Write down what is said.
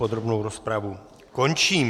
Podrobnou rozpravu končím.